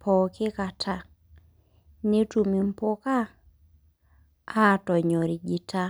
pooki kata netum embuka atonyorija